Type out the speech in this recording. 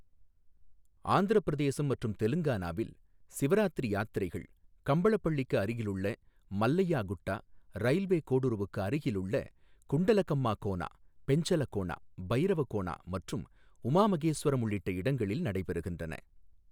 ஆந்திரப் பிரதேசம் மற்றும் தெலங்கானாவில், சிவராத்திரி யாத்திரைகள் கம்பளப்பள்ளிக்கு அருகிலுள்ள மல்லையா குட்டா, ரயில்வே கோடுருவுக்கு அருகிலுள்ள குண்டலகம்மா கோனா, பெஞ்சலகோனா, பைரவகோனா மற்றும் உமா மகேஸ்வரம் உள்ளிட்ட இடங்களில் நடைபெறுகின்றன.